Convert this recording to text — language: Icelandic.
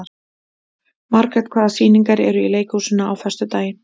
Margrét, hvaða sýningar eru í leikhúsinu á föstudaginn?